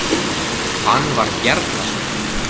Hann var Bjarnason.